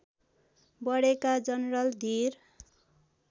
बढेका जनरल धीर